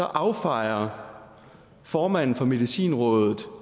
affejer formanden for medicinrådet